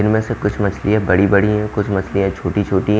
इनमें से कुछ मछलियां बड़ी-बड़ी हैं कुछ मछलियां छोटी-छोटी है।